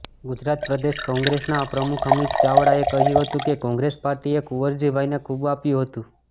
ગુજરાત પ્રદેશ કોંગ્રેસના પ્રમુખ અમિત ચાવડાએ કહ્યું હતું કે કોંગ્રેસ પાર્ટીએ કુંવરજીભાઈને ખૂબ આપ્યું છે